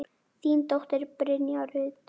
Þín dóttir, Brynja Rut.